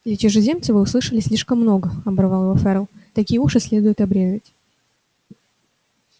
для чужеземца вы услышали слишком много оборвал его ферл такие уши следует обрезать